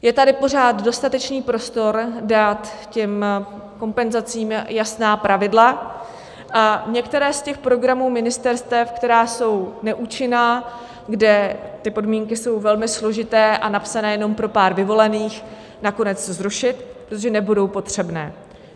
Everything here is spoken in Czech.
Je tady pořád dostatečný prostor dát těm kompenzacím jasná pravidla a některé z těch programů ministerstev, které jsou neúčinné, kde ty podmínky jsou velmi složité a napsané jen pro pár vyvolených, nakonec zrušit, protože nebudou potřebné.